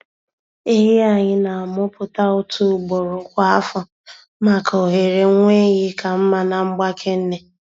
Ehi anyị na-amụpụta otu ugboro kwa afọ maka ohere nwa ehi ka mma na mgbake nne.